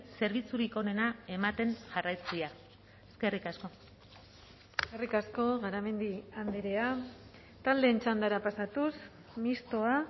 zerbitzurik onena ematen jarraitzea eskerrik asko eskerrik asko garamendi andrea taldeen txandara pasatuz mistoa